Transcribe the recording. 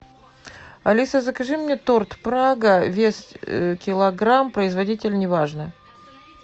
алиса закажи мне торт прага вес килограмм производитель неважно